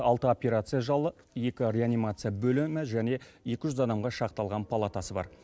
алты операция жалы екі реанимация бөлімі және екі жүз адамға шақталған палатасы бар